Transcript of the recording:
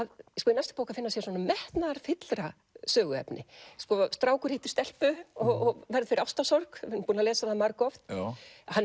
í næstu bók að finna sér metnaðarfyllra söguefni sko strákur hittir stelpu og verður fyrir ástarsorg við erum búin að lesa það margoft hann